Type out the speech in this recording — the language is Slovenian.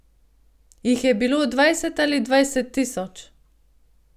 Jih je bilo dvajset ali dvajset tisoč?